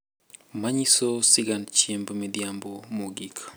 Manyiso sigand Chiemb Midhiambo Mogik .